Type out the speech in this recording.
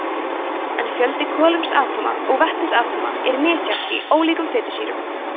en fjöldi kolefnisatóma og vetnisatóma er misjafn í ólíkum fitusýrum